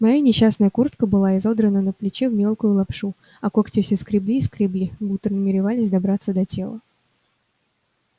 моя несчастная куртка была изодрана на плече в мелкую лапшу а когти все скребли и скребли будто намеревались добраться до тела